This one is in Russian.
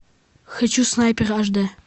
хочу снайпер аш д